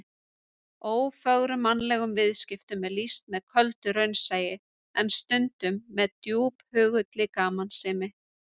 Ófögrum mannlegum viðskiptum er lýst með köldu raunsæi, en stundum með djúphugulli gamansemi.